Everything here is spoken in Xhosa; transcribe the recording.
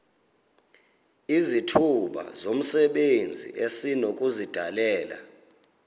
izithuba zomsebenzi esinokuzidalela